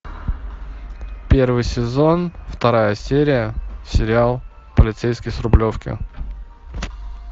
первый сезон вторая серия сериал полицейский с рублевки